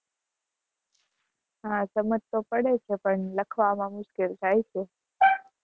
હા, સમજ તો પડે છે પણ લખવામાં મુશ્કેલ થાય છે